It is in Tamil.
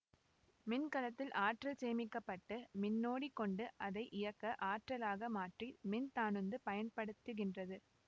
மின் கலத்தில் ஆற்றல் சேமிக்க பட்டு மின்னோடி கொண்டு அதை இயக்க ஆற்றலாக மாற்றி மின் தானுந்து பயன்படுத்துகின்றது